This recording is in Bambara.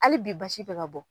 Hali bi basi bɛ ka bɔ